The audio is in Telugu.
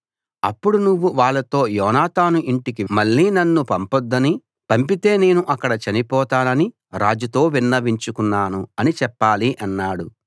అప్పుడు నువ్వు వాళ్ళతో యోనాతాను ఇంటికి మళ్ళీ నన్ను పంపొద్దని పంపితే నేను అక్కడ చనిపోతానని రాజుతో విన్నవించుకున్నాను అని చెప్పాలి అన్నాడు